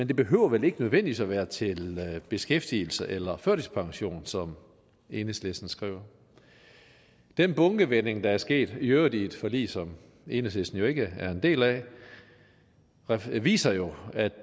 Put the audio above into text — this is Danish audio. det behøver vel ikke nødvendigvis være til beskæftigelse eller førtidspension som enhedslisten skriver den bunkevending der er sket i øvrigt i et forlig som enhedslisten ikke er en del af viser jo at